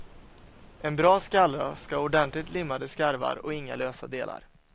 En bra skallra ska ha ordentligt limmade skarvar och inga lösa delar.